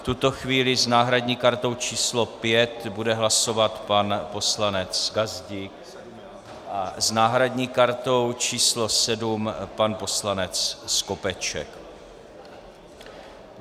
V tuto chvíli s náhradní kartou číslo 5 bude hlasovat pan poslanec Gazdík a s náhradní kartou číslo 7 pan poslanec Skopeček.